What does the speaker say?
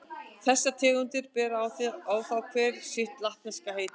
Þessar tegundir bera þá hver sitt latneska heiti.